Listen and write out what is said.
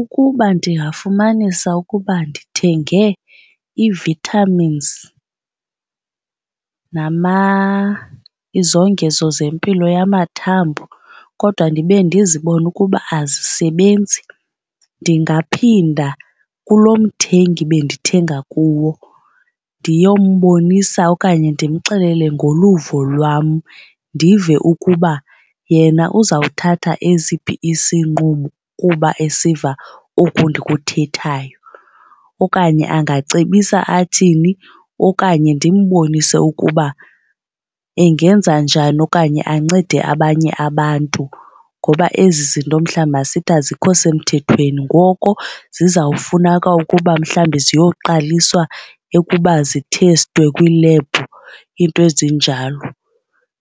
Ukuba ndingafumanisa ukuba ndithenge ii-vitamins, izongezo zempilo yamathambo kodwa ndibe ndizibona ukuba azisebenzi, ndingaphinda kulo mthengi bendithenga kuwo ndiyombonisa okanye ndimxelele ngoluvo lwam. Ndive ukuba yena uzawuthatha esiphi isinqumo kuba esiva oku ndikuthethayo okanye angacebisa athini. Okanye ndimbonise ukuba engenza njani okanye ancede abanye abantu ngoba ezi zinto mhlawumbi masithi azikho semthethweni. Ngoko zizawufuneka ukuba mhlawumbi ziyoqaliswa ukuba zithestwe kwiilebhu, iinto ezinjalo.